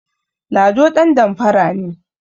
Lado ɗandamfara ne